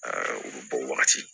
u bɛ bɔ wagati